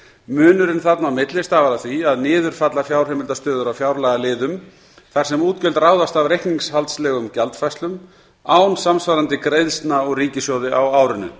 munurinn þarna á milli stafar af því að niður falla fjárheimildastöður á fjárlagaliðum þar sem útgjöld ráðast af reikningshaldslegum gjaldfærslum án samsvarandi greiðslna úr ríkissjóði á árinu